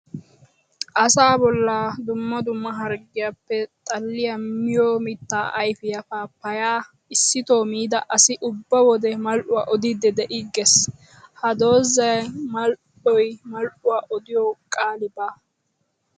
Asaa bolla dumma dumma harggiyappe xalliya miyo mitta ayfiya paapaya issitto miidda asi ubba wode mal'uwaa odiidde de'igees! Ha doozay mal'iyo mal'uwaa odiyo qaali baawa!